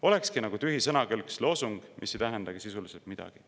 Olekski nagu tühi sõnakõlks, loosung, mis ei tähenda sisuliselt midagi.